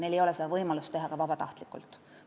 Neil ei ole võimalust teha ka vabatahtlikult lepingut.